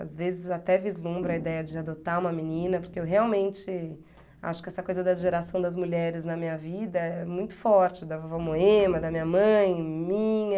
Às vezes até vislumbra a ideia de adotar uma menina, porque eu realmente acho que essa coisa da geração das mulheres na minha vida é muito forte, da vovó Moema, da minha mãe, minha.